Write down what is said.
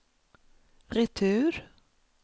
retur